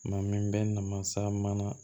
Maa min bɛ na mansa mana